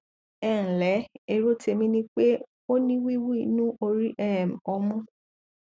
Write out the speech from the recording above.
ẹ ǹlẹ èrò tèmi ni pé o ní wíwú inú orí um ọmú